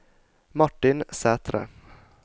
Martin Sætre